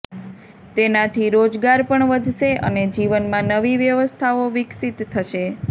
તેનાથી રોજગાર પણ વધશે અને જીવનમાં નવી વ્યવસ્થાઓ વિકસીત થશે